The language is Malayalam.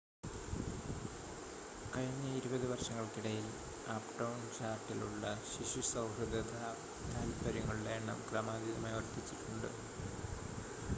കഴിഞ്ഞ 20 വർഷങ്ങൾക്കിടയിൽ അപ്‌ടൗൺ ചാർലട്ടിലുള്ള ശിശു സൗഹൃദ താത്പര്യങ്ങളുടെ എണ്ണം ക്രമാതീതമായി വർധിച്ചിട്ടുണ്ട്